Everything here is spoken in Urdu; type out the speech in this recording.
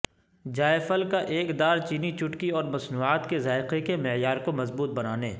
جائفل کا ایک دار چینی چوٹکی اور مصنوعات کے ذائقہ کے معیار کو مضبوط بنانے